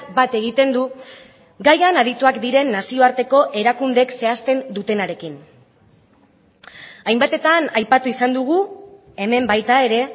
bat egiten du gaian adituak diren nazioarteko erakundeek zehazten dutenarekin hainbatetan aipatu izan dugu hemen baita ere